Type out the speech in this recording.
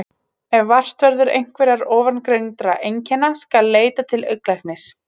Ef vart verður einhverra ofangreindra einkenna skal leita til augnlæknis.